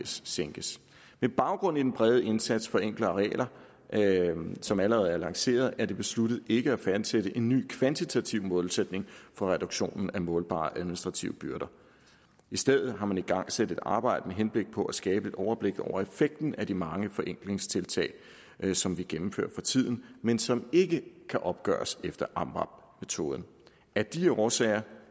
sænkes med baggrund i den brede indsats for enklere regler som allerede er lanceret er det besluttet ikke at fastsætte en ny kvantitativ målsætning for reduktionen af målbare administrative byrder i stedet har man igangsat et arbejde med henblik på at skabe et overblik over effekten af de mange forenklingstiltag som vi gennemfører for tiden men som ikke kan opgøres efter amvab metoden af de årsager